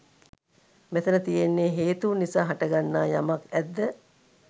මෙතැන තියෙන්නේ හේතූන් නිසා හටගන්නා යමක් ඇද්ද